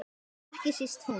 Ekki síst hún.